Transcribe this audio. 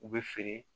U bɛ feere